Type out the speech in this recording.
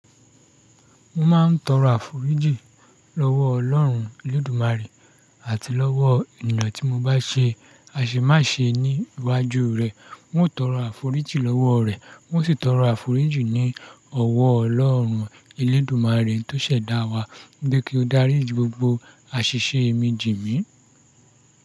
Mo máa ń tọrọ àforíjì lọ́wọ́ Ọlọ́run Elédùmarè àti lọ́wọ́ ènìyàn tí mo bá ṣe àṣemàṣe ní iwájú rẹ̀. N ó tọrọ àforíjì lọ́wọ́ rẹ̀, mo sì tọrọ àforíjì ní ọ̀wọ́ Ọlọ́run Elédùmarè tó ṣẹ̀dá wa bí kí ó dárí gbogbo àṣìṣe mi jì mí.